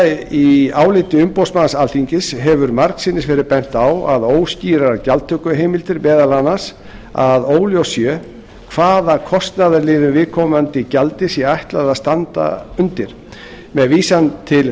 níundi í álitum umboðsmanns alþingis hefur margsinnis verið bent á óskýrar gjaldtökuheimildir meðal annars að óljóst sé hvaða kostnaðarliðum viðkomandi gjaldi sé ætlað að standa undir með vísan til